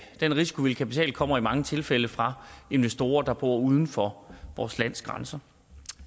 den risikovillige kapital kommer i mange tilfælde fra investorer der bor uden for vores lands grænser